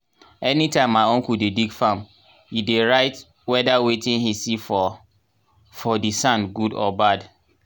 anytime my uncle dey dig farm he dey write whedir wetin he see for for di sand good or bad.